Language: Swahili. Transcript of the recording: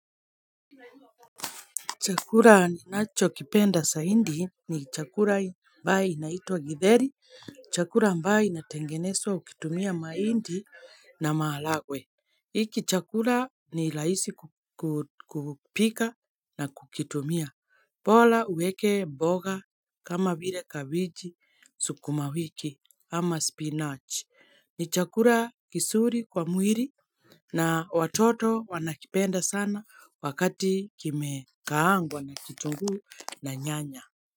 Chakula ninachokipenda zaidi ni chakula ambacho kinaitwa githeri chakula ambacho kinatengenezwa kwa kutumia mahindi na maharagwe hiki chakula ni rahisi kupika na kukitumia bora uweke mboga kama vile, kabeji, sukuma wiki, ama spinach ni chakula kizuri kwa mwili na watoto wanakipenda sana wakati kimekaangwa na kitunguu na nyanya.